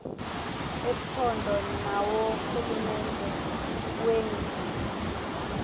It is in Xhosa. ephondo naworhulumente wengingqi